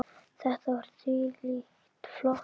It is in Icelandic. Þetta var þvílíkt flott.